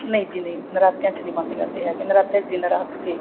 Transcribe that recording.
ਨਹੀਂ ਜੀ ਨਹੀਂ ਨਰਾਤਿਆਂ ਚ ਨਹੀਂ ਬੰਦ ਕਰਦੇ ਹੈਗੇ ਨਰਾਤਿਆਂ ਚ ਦਿਨ ਰਾਤ